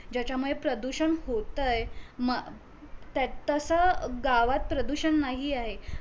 जायच्यामुळे प्रदूषण होतय तस गावात प्रदुषण नाही आहे